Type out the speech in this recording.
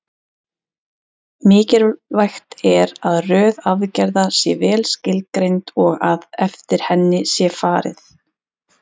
Mikilvægt er að röð aðgerða sé vel skilgreind og að eftir henni sé farið.